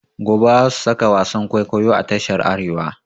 Gobe za su saka wasan kwaikwayo a tashar Arewa.